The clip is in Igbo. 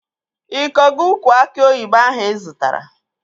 Ị kọgo ukwu aki oyibo ahụ ị zụtara?